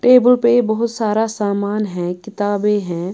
Table पे बहुत सारा सामान है किताबें हैं।